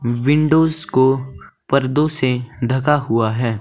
Windows को पर्दों से ढका हुआ है।